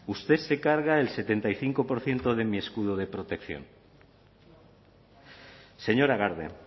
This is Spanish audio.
usted se carga el setenta y cinco por ciento de mi escudo de protección señora garde